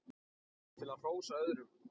til að hrósa öðrum